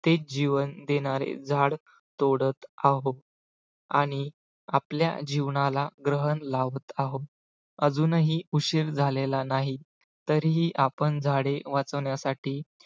ते जीवन देणारे झाड तोडत आहोत आणि आपल्या जीवनाला ग्रहण लावत आहोत अजूनही उशीर झालेला नाही तरीही आपण झाडे वाचवण्यासाठी